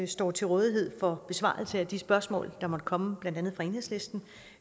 står til rådighed for besvarelse af de spørgsmål der måtte komme blandt andet fra enhedslisten